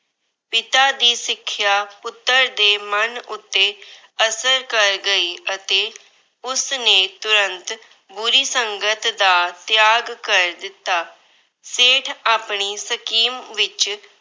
ਪਿਤਾ ਦੀ ਸਿੱਖਿਆ ਪੁੱਤਰ ਦੇ ਮਨ ਉੱਤੇ ਅਸਰ ਗਈ ਅਤੇ ਉਸਨੇ ਤੁਰੰਤ ਬੁਰੀ ਸੰਗਤ ਦਾ ਤਿਆਗ ਕਰ ਦਿੱਤਾ। ਸੇਠ ਆਪਣੀ scheme ਵਿੱਚ